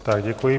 Tak děkuji.